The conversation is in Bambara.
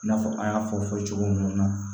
I n'a fɔ an y'a fɔ fɔ cogo mun na